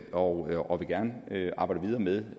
og gerne vil arbejde videre med